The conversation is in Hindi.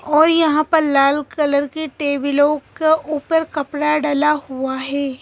और यहां पर लाल कलर की टेबलों के ऊपर कपड़ा डला हुआ है।